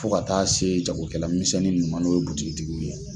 Fo ka taa se jagokɛlamisɛnninuma n' o ye butigi tigiw ye.